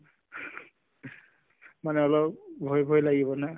মানে অলপ ভয় ভয় লাগিব না